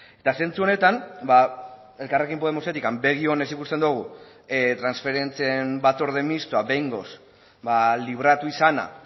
eta zentzu honetan elkarrekin podemosetik begi onez ikusten dugu transferentzien batzorde mistoa behingoz libratu izana